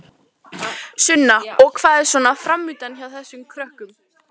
Sunna: Og hvað er svona framundan hjá þessum krökkum?